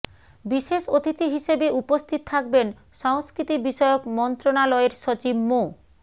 বিশেষ অতিথি হিসেবে উপস্থিত থাকবেন সংস্কৃতি বিষয়ক মন্ত্রণালয়ের সচিব মো